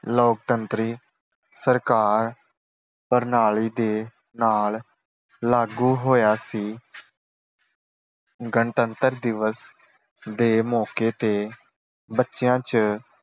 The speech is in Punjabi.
ਲੋਕਤੰਤਰੀ ਸਰਕਾਰ ਪ੍ਰਣਾਲੀ ਦੇ ਨਾਲ ਲਾਗੂ ਹੋਇਆ ਸੀ। ਗਣਤੰਤਰ ਦਿਵਸ ਦੇ ਮੌਕੇ ਤੇ ਬੱਚਿਆਂ ਚ